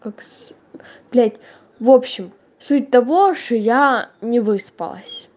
упс блять в общем суть того что я не выспалась